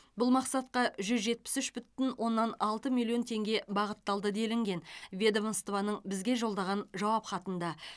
бұл мақсатқа жүз жетпіс үш бүтін оннан алты миллион теңге бағытталды делінген ведомствоның бізге жолдаған жауап хатында